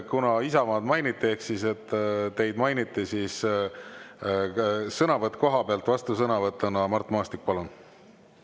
Kuna Isamaad ehk teid mainiti, siis vastusõnavõtt koha pealt, Mart Maastik, palun!